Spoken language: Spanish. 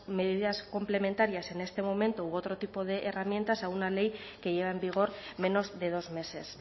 medidas complementarias en este momento u otro tipo de herramientas a una ley que lleva en vigor menos de dos meses